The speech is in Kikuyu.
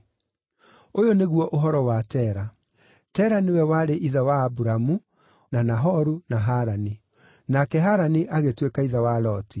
Ũyũ nĩguo ũhoro wa Tera. Tera nĩwe warĩ ithe wa Aburamu, na Nahoru na Harani. Nake Harani agĩtuĩka ithe wa Loti.